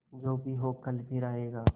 जो भी हो कल फिर आएगा